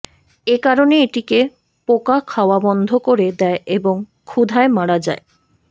এ কারণে এটিকে পোকা খাওয়া বন্ধ করে দেয় এবং ক্ষুধায় মারা যায়